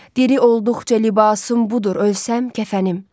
Diri olduqca libasım budur, ölsəm kəfənim.